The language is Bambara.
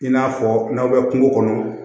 I n'a fɔ n'aw bɛ kungo kɔnɔ